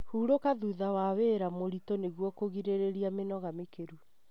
Hurũka thutha wa wĩra mũritũ nĩguo kũgirĩrĩria mĩnoga mĩkĩru.